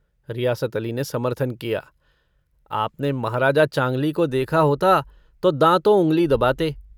रियासत अली ने समर्थन किया - आपने महाराजा चांँगली को देखा होता तो दांँतों उँगली दबाते।